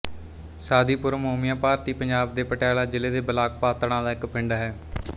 ਸਾਦੀਪੁਰ ਮੋਮੀਆਂ ਭਾਰਤੀ ਪੰਜਾਬ ਦੇ ਪਟਿਆਲਾ ਜ਼ਿਲ੍ਹੇ ਦੇ ਬਲਾਕ ਪਾਤੜਾਂ ਦਾ ਇੱਕ ਪਿੰਡ ਹੈ